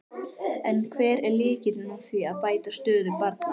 En hver er lykillinn að því að bæta stöðu barna?